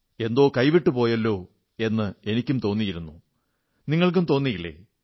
എന്തോ കൈവിട്ടുപോയല്ലോ എന്ന് എനിക്കും തോന്നിയിരുന്നുനിങ്ങൾക്കും തോന്നിയില്ലേ